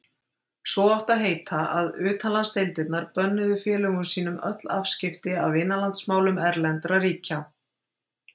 Svo átti að heita, að utanlandsdeildirnar bönnuðu félögum sínum öll afskipti af innanlandsmálum erlendra ríkja.